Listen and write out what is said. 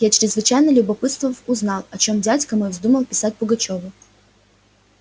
я чрезвычайно любопытствовал узнал о чем дядька мой вздумал писать пугачёву